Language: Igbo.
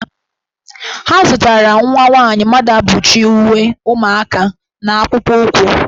Ha zụtara nwa nwaanyị Mmaduabuchi uwe ụmụaka na akpụkpọụkwụ.